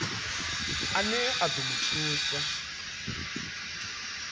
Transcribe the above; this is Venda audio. ane a ḓo mu thusa